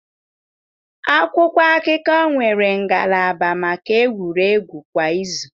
Akwụkwọ akụkọ nwere ngalaba maka egwuregwu kwa izu.